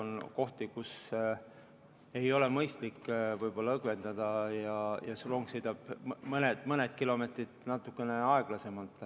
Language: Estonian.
On kohti, kus ei ole võib-olla mõistlik õgvendada ja siis rong sõidab mõned kilomeetrid natukene aeglasemalt.